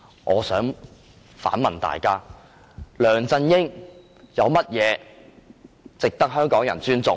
我想反問大家，梁振英有甚麼值得香港人尊重？